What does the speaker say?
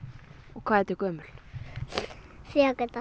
hvað ertu gömul